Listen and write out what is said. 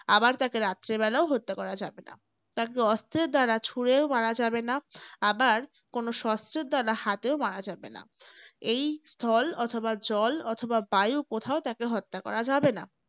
আবার তাকে রাত্রে বেলাও হত্যা করা যাবে না। তাকে অস্ত্রের দ্বারা ছুড়েও মারা যাবেনা । আবার কোন শস্ত্রের দ্বারা হাতেও মারা যাবে না। এই স্থল অথবা জল অথবা বায়ূ কোথাও তাকে হত্যা করা যাবে না।